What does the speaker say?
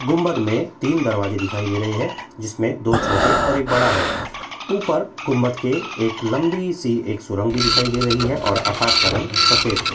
गुंबद में तीन दरवाजे दिखाई दे रहे हैं जिसमें दो छोटे और एक बड़ा है ऊपर गुंबद की एक लंबी सी एक सुरंग भी दिखाई दे रही है और आकाश का रंग सफ़ेद है।